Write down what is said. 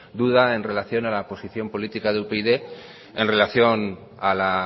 duda en relación a la posición política de upyd en relación a la